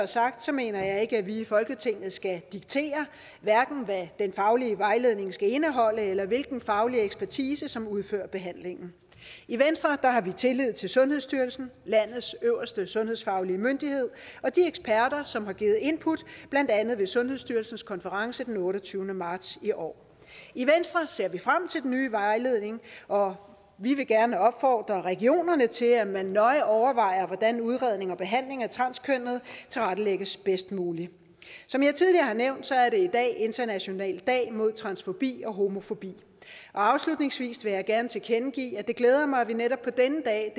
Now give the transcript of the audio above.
sagt mener jeg ikke at vi i folketinget skal diktere hvad den faglige vejledning skal indeholde eller hvilken faglig ekspertise som udfører behandlingen i venstre har vi tillid til sundhedsstyrelsen landets øverste sundhedsfaglige myndighed og de eksperter som har givet input blandt andet ved sundhedsstyrelsens konference den otteogtyvende marts i år i venstre ser vi frem til den nye vejledning og vi vil gerne opfordre regionerne til at man nøje overvejer hvordan udredning og behandling af transkønnede tilrettelægges bedst muligt som jeg tidligere har nævnt er det i dag international dag mod transfobi og homofobi og afslutningsvis vil jeg gerne tilkendegive at det glæder mig at vi netop på denne dag